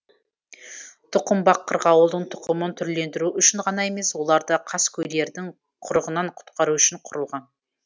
тұқымбақ қырғауылдың тұқымын түрлендіру үшін ғана емес оларды қаскөйлердің құрығынан құтқару үшін құрылған